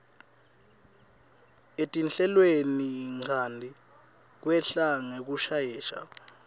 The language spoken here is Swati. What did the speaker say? etinhlelweninchanti kwehla ngekushesha